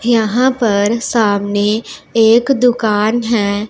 यहां पर सामने एक दुकान हैं।